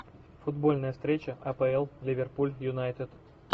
футбольная встреча апл ливерпуль юнайтед